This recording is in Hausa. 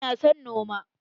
Ina son noma.